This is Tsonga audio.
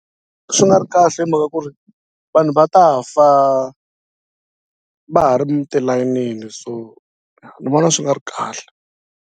Swi nga ri kahle hi mhaka ku ri vanhu va ta fa va ha ri mi tilayinini so ni vona swi nga ri kahle.